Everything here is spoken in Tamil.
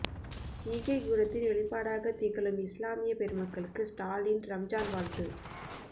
ஈகைக் குணத்தின் வெளிப்பாடாகத் திகழும் இஸ்லாமிய பெருமக்களுக்கு ஸ்டாலின் ரம்ஜான் வாழ்த்து